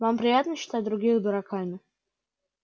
вам приятно считать других дураками